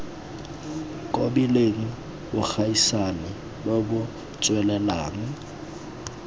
kobileng bogaisani bo bo tswelelang